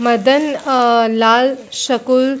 मदन अ लाल स्कूल --